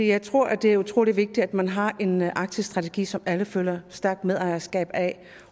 jeg tror at det er utrolig vigtigt at man har en arktisk strategi som alle føler et stærkt medejerskab af